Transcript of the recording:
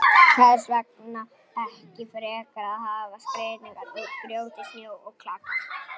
Hvers vegna ekki frekar að hafa skreytingar úr grjóti, snjó og klaka?